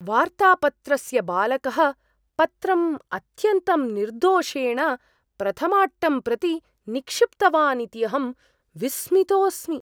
वार्तापत्रस्य बालकः पत्रम् अत्यन्तं निर्दोषेण प्रथमाट्टं प्रति निक्षिप्तवान् इति अहं विस्मितोऽस्मि।